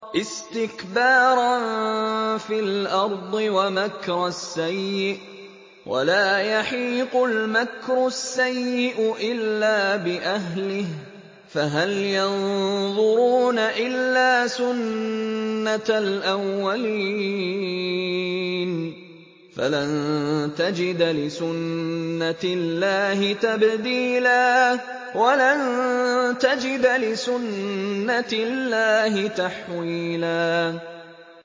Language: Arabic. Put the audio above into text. اسْتِكْبَارًا فِي الْأَرْضِ وَمَكْرَ السَّيِّئِ ۚ وَلَا يَحِيقُ الْمَكْرُ السَّيِّئُ إِلَّا بِأَهْلِهِ ۚ فَهَلْ يَنظُرُونَ إِلَّا سُنَّتَ الْأَوَّلِينَ ۚ فَلَن تَجِدَ لِسُنَّتِ اللَّهِ تَبْدِيلًا ۖ وَلَن تَجِدَ لِسُنَّتِ اللَّهِ تَحْوِيلًا